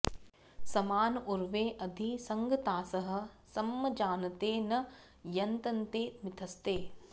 समान ऊर्वे अधि संगतासः सं जानते न यतन्ते मिथस्ते